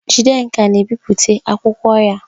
Jidenka na-ebipụta akwụkwọ ya.